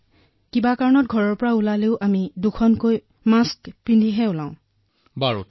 হয় এতিয়া আমাৰ ইয়াত অনলাইন পাঠ্যক্ৰম চলি আছে আৰু আমি সম্পূৰ্ণ সাৱধানতা গ্ৰহণ কৰিছো